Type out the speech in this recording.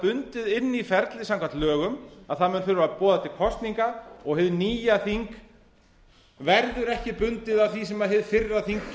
bundið inn í ferlið samkvæmt lögum að það mun þurfa að boða til kosninga og hið nýja þing verður ekki bundið af því sem hið fyrra þing